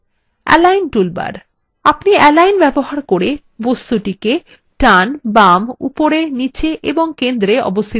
আমরা align ব্যবহার করে toolbar বস্তুটিকে বাম ডান উপরে নীচে এবং centrewe অবস্থিত করতে পারেন